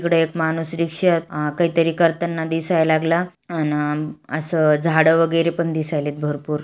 इकड़ एक माणूस रिक्षेत काही तरी करताना दिसाय लागला अन अ अस झाड वगैरे पण दिसायलेत भरपूर.